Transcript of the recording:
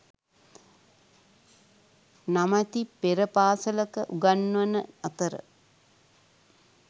නමැති පෙර පාසලක උගන්වන අතර